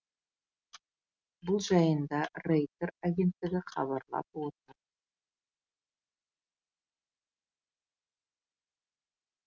бұл жайында рейтер агенттігі хабарлап отыр